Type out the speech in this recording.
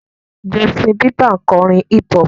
Justin Bieber ń kọrin hip-hop.